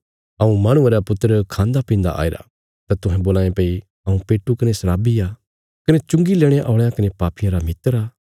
हऊँ माहणुये रा पुत्र खान्दा पीन्दा आईरा तां तुहें बोलां ये भई हऊँ पेटू कने शराबी आ कने चुंगी लेणे औल़यां कने पापियां रा मित्र आ